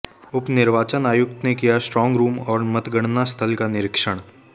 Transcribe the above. उप निर्वाचन आयुक्त ने किया स्ट्राँग रूम और मतगणना स्थल का निरीक्षण